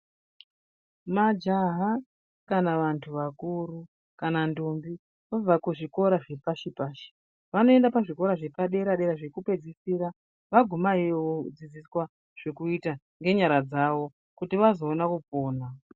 Majaha kana vanthu vakuru kana ndombi vabva kuzvikora zvepashi pashi vanoenda pazvikora zvepadera dera zvekupedzisira vaguma iyoyo vodzidziswa zvokuita ngenyara dzawo kuti vazoona kupona.